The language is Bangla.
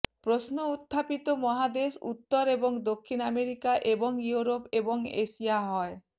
প্রশ্ন উত্থাপিত মহাদেশ উত্তর এবং দক্ষিণ আমেরিকা এবং ইউরোপ এবং এশিয়া হয়